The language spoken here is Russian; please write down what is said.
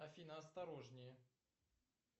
афина осторожнее